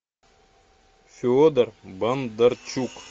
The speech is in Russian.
федор бондарчук